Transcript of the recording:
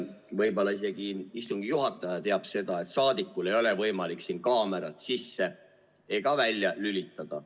Võib-olla isegi istungi juhataja teab seda, et saadikul ei ole võimalik siin kaamerat sisse ega välja lülitada.